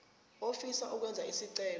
ofisa ukwenza isicelo